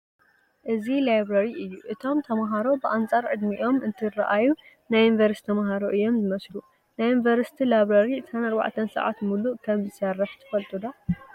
እዚ ላብረሪ እዩ፡፡ እቶም ተመሃሮ ብኣንፃር ዕድሚኦም እንትርአዩ ናይ ዩኒቨርሲቲ ተመሃሮ እዮም ዝመስሉ፡፡ ናይ ዩኒቨርሲቲ ላብረሪ 24 ሰዓት ሙሉእ ከምዝሰርሕ ትፈልጡ ዶ?